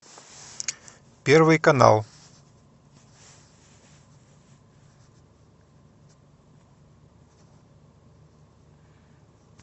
первый канал